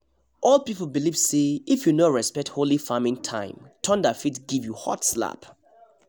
old people believe say if you no respect holy farming time thunder fit give you hot slap